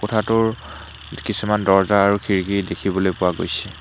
কোঠাটোৰ কিছুমান দৰ্জা আৰু খিৰিকী দেখিবলৈ পোৱা গৈছে।